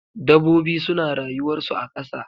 Dabobi suna rayuwar su a kasa.